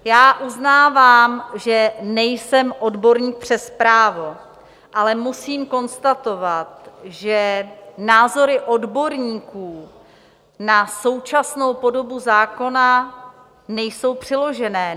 Já uznávám, že nejsem odborník přes právo, ale musím konstatovat, že názory odborníků na současnou podobu zákona nejsou přiložené.